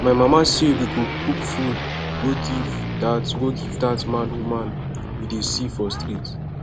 my mama say we go cook food go give dat go give dat mad woman we dey see for street